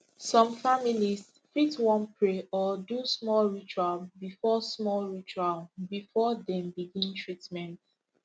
some families fit wan pray or do small ritual before small ritual before dem begin treatment